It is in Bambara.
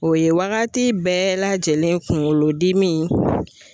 O ye waagati bɛɛ lajɛlen kunkolodimi.